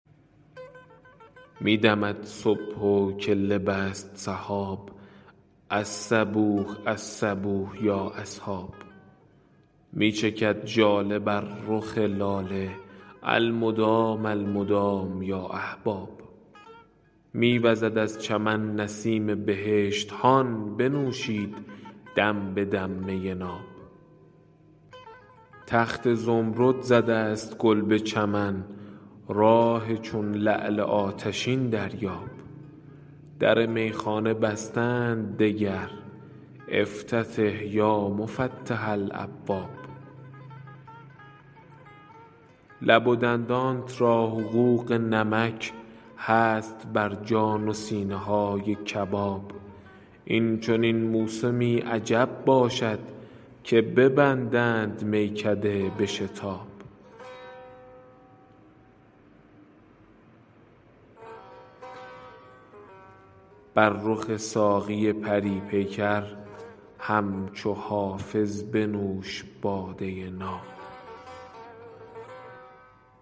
می دمد صبح و کله بست سحاب الصبوح الصبوح یا اصحاب می چکد ژاله بر رخ لاله المدام المدام یا احباب می وزد از چمن نسیم بهشت هان بنوشید دم به دم می ناب تخت زمرد زده است گل به چمن راح چون لعل آتشین دریاب در میخانه بسته اند دگر افتتح یا مفتح الابواب لب و دندانت را حقوق نمک هست بر جان و سینه های کباب این چنین موسمی عجب باشد که ببندند میکده به شتاب بر رخ ساقی پری پیکر همچو حافظ بنوش باده ناب